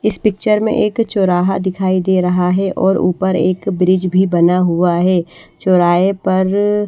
इस पिक्चर में एक चौराहा दिखाई दे रहा है और ऊपर एक ब्रिज भी बना हुआ है चौराहे पर--